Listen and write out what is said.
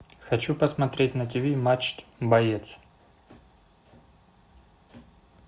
хочу посмотреть на тв матч боец